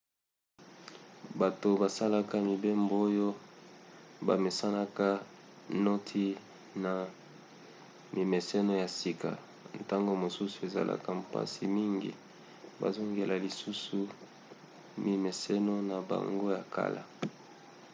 bato basalaka mibembo oyo bamesanaka noti na mimeseno ya sika ntango mosusu ezalaka mpasi mingi bazongela lisusu mimeseno na bango ya kala